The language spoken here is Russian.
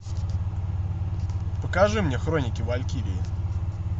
покажи мне хроники валькирии